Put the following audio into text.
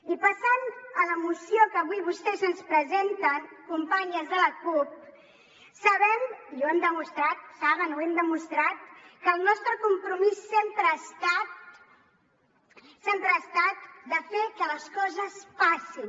i passant a la moció que avui vostès ens presenten companyes de la cup saben i ho hem demostrat ho saben ho hem demostrat que el nostre compromís sempre ha estat de fer que les coses passin